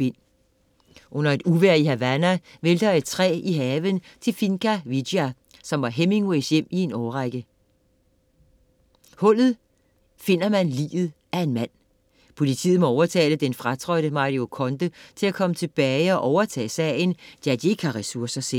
Under et uvejr i Havana vælter et træ i haven til Finca Vigia, som var Hemingways hjem i en årrække. I hullet finder man liget af en mand. Politiet må overtale den fratrådte Mario Conde til at komme tilbage og overtage sagen, da de ikke har ressourcer selv.